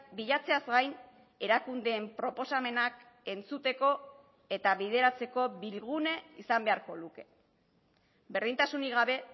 bilatzeaz gain erakundeen proposamenak entzuteko eta bideratzeko bilgune izan beharko luke berdintasunik gabe